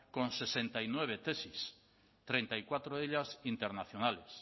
con sesenta y nueve tesis treinta y cuatro de ellas internacionales